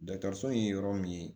Dɔgɔtɔrɔso in ye yɔrɔ min ye